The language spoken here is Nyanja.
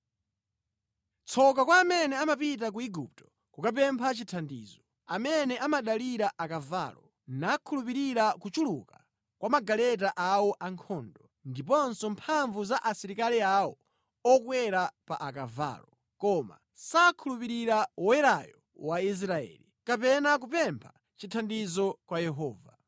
Tsoka kwa amene amapita ku Igupto kukapempha chithandizo, amene amadalira akavalo, nakhulupirira kuchuluka kwa magaleta awo ankhondo ndiponso mphamvu za asilikali awo okwera pa akavalo, koma sakhulupirira Woyerayo wa Israeli, kapena kupempha chithandizo kwa Yehova.